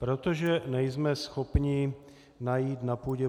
Protože nejsme schopni najít na půdě